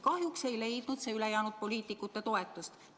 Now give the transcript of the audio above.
Kahjuks ei leidnud see ülejäänud poliitikute toetust.